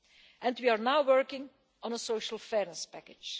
And we are now working on a Social Fairness Package.